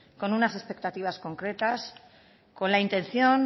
con unas expectativas concretas con la intención